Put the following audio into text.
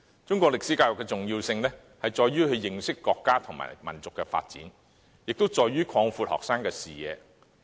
中史教育的重點是認識國家和民族的發展，以及擴闊學生的視野。